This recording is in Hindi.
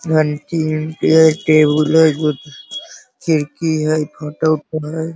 घंटी-उंटी ह। टेबुल ह। खिड़की ह। ई फोटो